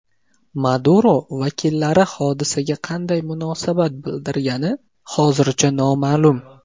Maduro vakillari hodisaga qanday munosabat bildirgani hozircha noma’lum.